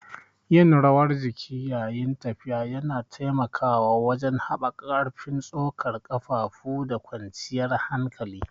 Yin rawar jiki yayin tafiya yana taimakawa wajen haɓaka ƙarfin tsokar ƙafafu da kwanciyar hankali.